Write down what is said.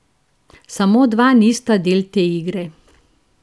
Samo dva nista del te igre.